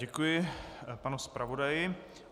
Děkuji panu zpravodaji.